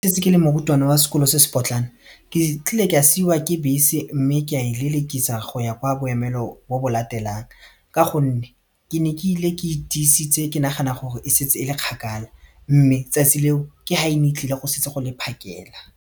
ke le morutwana wa sekolo se se potlana ke tlile ka siiwa ke bese mme ka e lelekisana go ya kwa boemelo bo bo latelang ka gonne ke ne ke ile ke itisitse ke nagana gore e setse e le kgakala mme tsatsi leo ke ga ene e tlile go setse go le phakela.